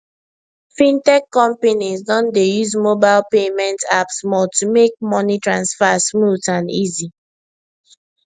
fintech companies don dey use mobile payment apps more to make money transfer smooth and easy